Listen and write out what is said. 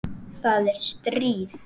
Það er stríð!